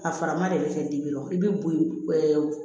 A farama de bɛ kɛ dimi i bɛ boyogo ɛɛ